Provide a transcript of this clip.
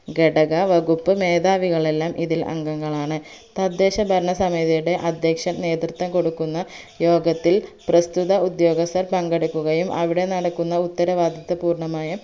ഘടക വകുപ്പ് മേദാവികളെല്ലാം ഇതിൽ അംഗങ്ങളാണ് തദ്ദേശഭരണസമിതിയുടെ അധ്യക്ഷൻ നേതൃത്വം കൊടുക്കുന്ന യോഗത്തിൽ പ്രസ്തുത ഉദ്യോഗസ്ഥർ പങ്കെടുക്കുകയും അവിടെ നടക്കുന്ന ഉത്തരവാദിത്തപൂർണ്ണമായും